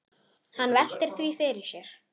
Hann veltir því fyrir sér.